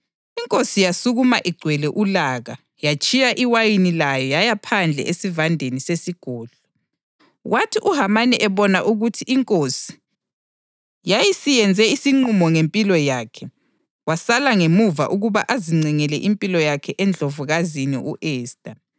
Inkosi yasukuma igcwele ulaka yatshiya iwayini layo yaya phandle esivandeni sesigodlo. Kwathi uHamani ebona ukuthi inkosi yayisiyenze isinqumo ngempilo yakhe, wasala ngemuva ukuba azincengele impilo yakhe eNdlovukazini u-Esta.